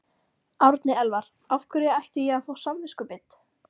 Árni Elvar: Af hverju ætti ég að fá samviskubit?